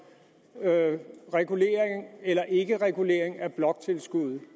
regulering eller ikkeregulering af bloktilskuddet